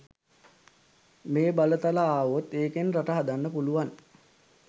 මේ බලතල ආවොත් ඒකෙන් රට හදන්න පුළුවන්.